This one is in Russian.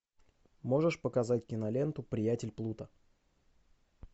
можешь показать киноленту приятель плуто